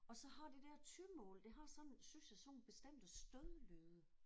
Og så har det der tymål det har sådan synes jeg sådan nogle bestemte stødlyde